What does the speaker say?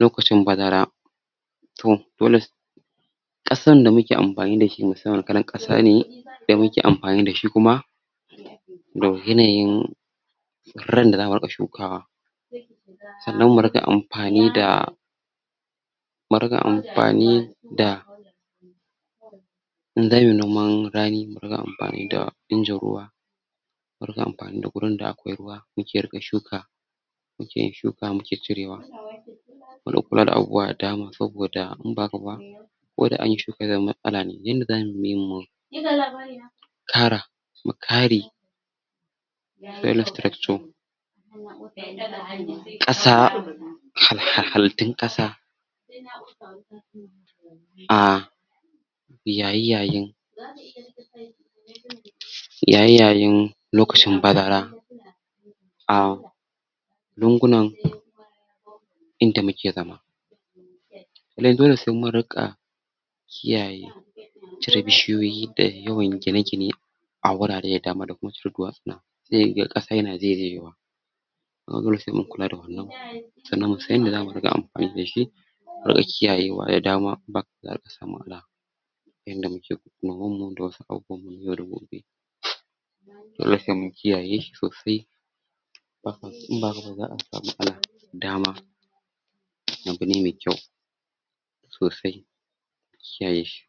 lokcin bazara to dole ƙasan da muke anfani da su musamman kalan vasa da muke anfani da shi kuma da yanayin tsiran da za'a riƙa shukawa sanan mu riƙa anpani da murƙa anfani da in damuyi noman rani mu riƙa anfani da ingin ruwa muriƙa anfani da gurin da akwai ruwa yake ruƙe shuka muke yin shuka muke cirewa mu dinga kulawa da abubuwa da dama saboda inba hakaba koda anyi suka wajan matsala ne du inda zamuyi mu kara mukare soil structure ƙasa hal halittun kasa a yayiyayin yayi yayin lokacin bazara a lungunan inda muke zama lai dole se mun rika kiyaye cire bishiyoyi da yawan gine gine awurare da dama da kuma cire dusuna se yu kasa na zaizaiwa sai mun kula da wannan sannan mun san yanda zamuyi anfani da shi mu rika kiiyayewa da dama in ba hakaba za'a rika samun matsala yanda muka da wasu abubuwan na yau da gobe dole se mun kiyaye sosai in ba hakaba za'a samu matsala dama abune me kyau sosai a kiyaye shi